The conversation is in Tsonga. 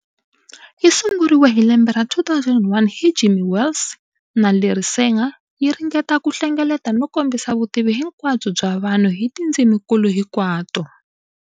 Yi sunguriwe hi lembe ra 2001 hi Jimmy Wales na Larry Sanger, yi ringeta ku hlengeleta no komisa vutivi hinkwabyo bya vanhu hi tindziminkulu hinkwato.